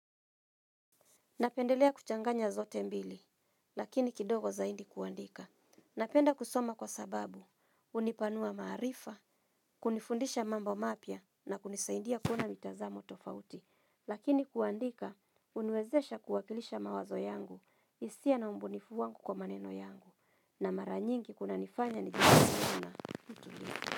Napendelea kuchanganya zote mbili, lakini kidogo zaindi kuandika. Napenda kusoma kwa sababu, unipanua maarifa, kunifundisha mambo mapia, na kunisaindia kuona mitazamo tofauti. Lakini kuandika, uniwezesha kuwakilisha mawazo yangu, hisia na ubunifu wangu kwa maneno yangu, na maranyingi kuna nifanya nifanya kuna.